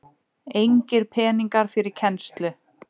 Engir peningar fyrir kennslu